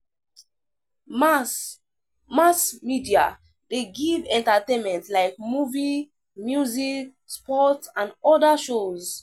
Mass Mass media de give entertainment like movie, music, sports and other shows